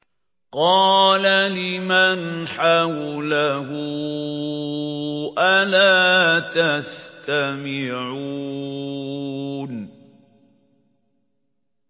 قَالَ لِمَنْ حَوْلَهُ أَلَا تَسْتَمِعُونَ